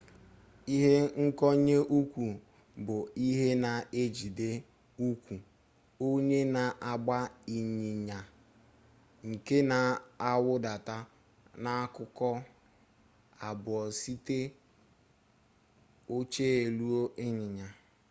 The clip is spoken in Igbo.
ihe nkonye ụkwụ bụ ihe na-ejide ụkwụ onye na-agba ịnyịnya nke na-awụdata n'akụkụ abụọ site oche elu ịnyịnya